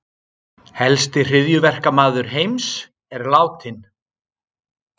Helsti hryðjuverkamaður heims er látinn